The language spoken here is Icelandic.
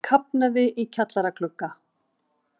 Kafnaði í kjallaraglugga